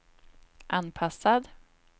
anpassad